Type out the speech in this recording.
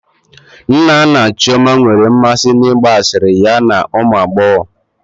Nna nna Chioma nwere mmasị n'ịgba asịrị ya na ụmụ agbọghọ